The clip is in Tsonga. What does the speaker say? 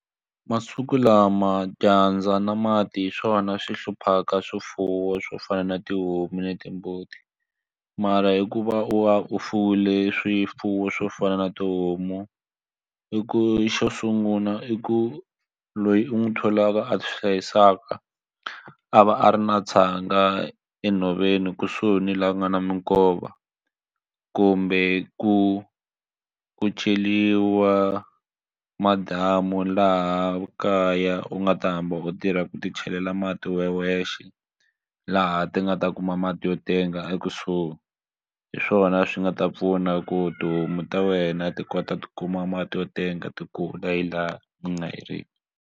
Masiku lama dyandza na mati hi swona swi hluphaka swifuwo swo fana na tihomu na timbuti mara hikuva u va u fuwile swifuwo swo fana na tihomu i ku xo sungula i ku loyi u n'wi tholaka a swi hlayisaka a va a ri na tshanga enhoveni kusuhi ni laha ku nga na minkova kumbe ku ku ceriwa madamu laha kaya u nga ta hamba u tirha ku ti chelela mati we wexe laha ti nga ta kuma mati yo tenga ekusuhi hi swona swi nga ta pfuna ku tihomu ta wena ti kota ku ti kuma mati yo tenga ti laha ni nga heriki.